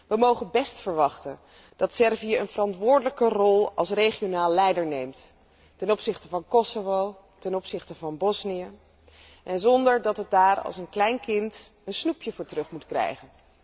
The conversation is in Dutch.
We mogen best verwachten dat Servië een verantwoordelijke rol als regionaal leider op zich neemt ten opzichte van Kosovo, ten opzichte van Bosnië, zonder dat het daar als een klein kind een snoepje voor terug moet krijgen.